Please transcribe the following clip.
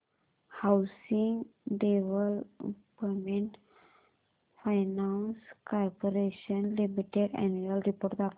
housing development finance corporation limited annual report दाखव